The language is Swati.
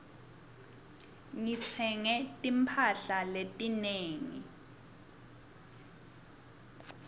ngitsenge timphahla letinengi